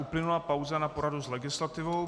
Uplynula pauza na poradu s legislativou.